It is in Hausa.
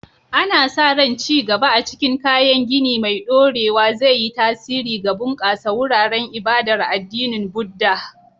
Ana sa ran ci gaba a cikin kayan gini mai ɗorewa zai yi tasiri ga bunƙasa wuraren ibadar addinin Buddah.